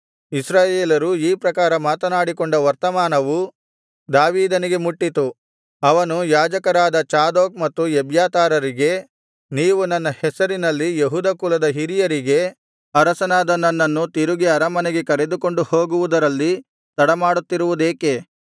ಇಸ್ರಾಯೇಲರು ಈ ಪ್ರಕಾರ ಮಾತನಾಡಿಕೊಂಡ ವರ್ತಮಾನವು ದಾವೀದನಿಗೆ ಮುಟ್ಟಿತು ಅವನು ಯಾಜಕರಾದ ಚಾದೋಕ್ ಮತ್ತು ಎಬ್ಯಾತಾರರಿಗೆ ನೀವು ನನ್ನ ಹೆಸರಿನಲ್ಲಿ ಯೆಹೂದ ಕುಲದ ಹಿರಿಯರಿಗೆ ಅರಸನಾದ ನನ್ನನ್ನು ತಿರುಗಿ ಅರಮನೆಗೆ ಕರೆದುಕೊಂಡು ಹೋಗುವುದರಲ್ಲಿ ತಡಮಾಡುತ್ತಿರುವುದೇಕೆ